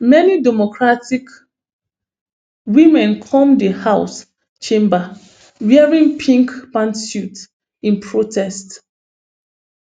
many democratic women come di house chamber wearing pink pantsuits in protest